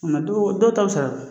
dɔ dɔw ta bɛ sara